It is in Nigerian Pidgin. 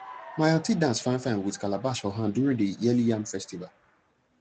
my aunty dance finefine with calabash for hand during the yearly yam festival